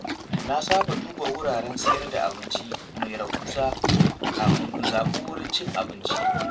Na saba duba wuraren siyar da abinci mai rahusa kafin in zaɓi wurin cin abinci.